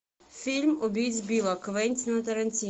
фильм убить билла квентина тарантино